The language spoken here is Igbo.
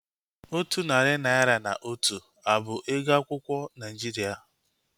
Otu narị naira na otu a bụ ego akwụkwọ Naijiria?